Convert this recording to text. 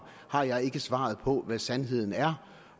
har jeg ikke svaret på hvad sandheden er